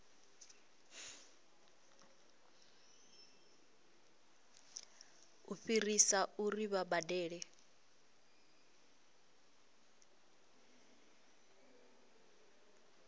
u fhirisa uri vha badele